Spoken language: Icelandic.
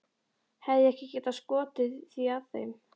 Hefði ég ekki getað skotið því að þeim